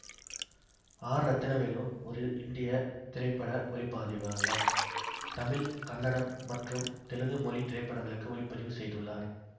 R Rathnavelu ஒரு இந்திய திரைப்பட ஒளி பதிவாளர் தமிழ் கன்னடம் மற்றும் தெலுங்கு மொழி திரைப்படங்களுக்கு ஒளிப்பதிவு செய்துள்ளார்